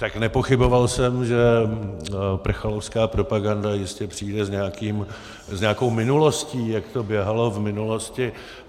Tak, nepochyboval jsem, že prchalovská propaganda jistě přijde s nějakou minulostí, jak to běhalo v minulosti.